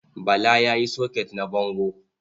Bala ya sayi soket na bango.